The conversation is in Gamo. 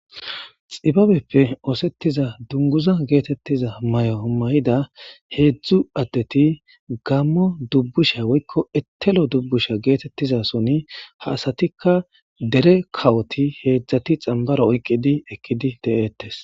xibabeppe oosettiza dunguza geetettiza may7o mayida heedzdzu addeti gammo dubbusha woykko etelo dubbusha geetettizason ha asatikka dere kawoti heedzdzati xambaro oyqqidi ekkidi de7eettes